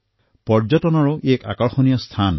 ই পৰ্যটনৰ বাবে আকৰ্ষণীয় স্থল